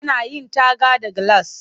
Ana yin taga da gilas